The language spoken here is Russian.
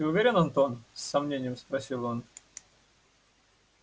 ты уверен антон с сомнением спросил он